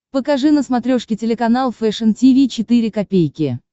покажи на смотрешке телеканал фэшн ти ви четыре ка